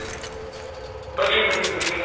ਵਧੀਆ ਜੀ ਵਧੀਆ ਵਧੀਆ sir